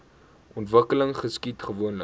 ontwikkeling geskied gewoonlik